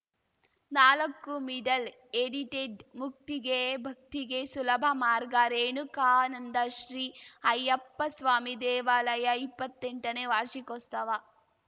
ನಾಲಕ್ಕು middle edited ಮುಕ್ತಿಗೆ ಭಕ್ತಿಗೆ ಸುಲಭ ಮಾರ್ಗ ರೇಣುಕಾನಂದ ಶ್ರೀ ಅಯ್ಯಪ್ಪಸ್ವಾಮಿ ದೇವಲಯ ಇಪ್ಪತ್ತೆಂಟನೇ ವಾರ್ಷಿಕೋಸ್ತವ